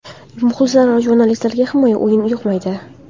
Muxlislar va jurnalistlarga himoyaviy o‘yin yoqmaydi.